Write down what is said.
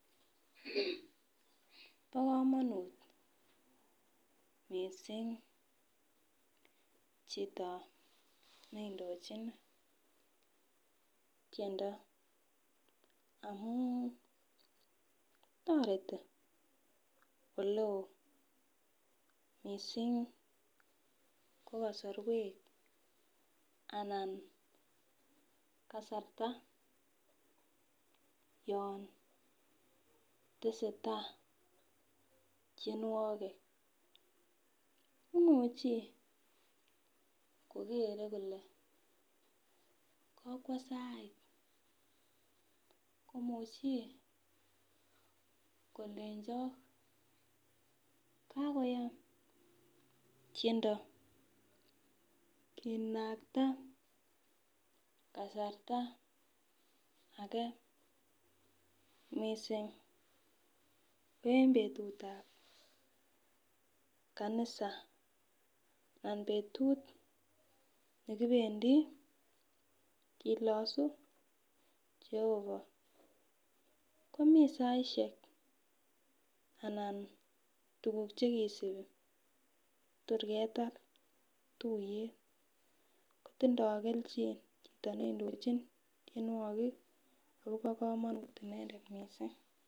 Bokomonut missing chito neindochin tiendo amun toreti oleo missing ko kasorwek anan kasarta yon tesetaa tienwogik imuchi kokere kole kokwo sait, komuchi kolenjok kakoyam tiendo kinakta kasarta age missing ko en betutab kanisa anan betut nekibendi kilosu jehovaj komii saisiek anan tuguk chekisipi torketar tuiyet kotindoo kelchin chito neindochin tienwogik akobo kamonut inendet missing.